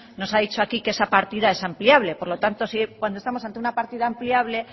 ha dicho aquí que esa partida es ampliable por lo tanto cuando estamos ante una partida ampliable